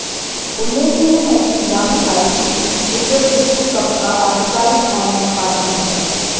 उल्लेखनीय है कि याहू आईसीसी क्रिकेट विश्व कप का आधिकारिक आनलाइन पार्टनर है